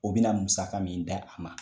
O bina musaka min d'a ma